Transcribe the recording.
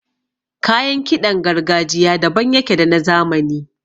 Kayan kiɗan gargajiya daban yake da na zamani.